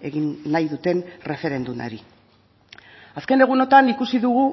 egin nahi duten erreferendumari azken egunotan ikusi dugu